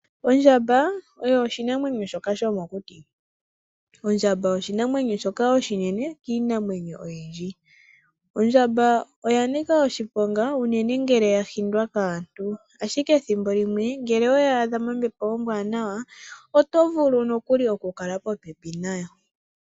Ondjamba oyo oshinamwenyo shoka shomokuti, ondjamba oshinamwenyo shoka oshinene kiinamwenyo oyindji. Ondjamba oya nika oshiponga unene ngele yahindwa kaantu, ashike ethimbo limwe ngele oweyi adha mombepo ombwanawa oto vulu nokuli oku kala popepi nayo.